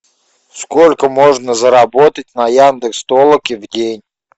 сколько можно заработать на яндекс толоке в день